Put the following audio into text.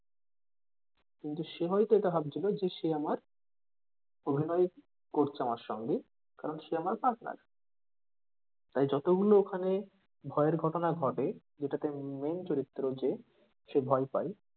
কিন্তু সে হয়তো এটা ভাবছিলো যে সে আমার অভিনয়ে করছে আমার সঙ্গে কারণ সে আমার partner তাই যত গুলো ওখানে ভয়ের ঘটনা ঘটে যেটাতে উম main চরিত্র যে সে ভয় পাই,